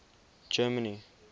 germany